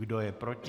Kdo je proti?